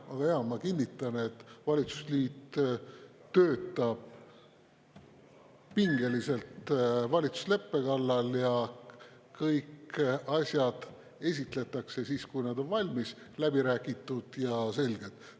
Aga ma kinnitan, et valitsusliit töötab pingeliselt valitsusleppe kallal ja kõiki asju esitletakse siis, kui nad on valmis, läbi räägitud ja selged.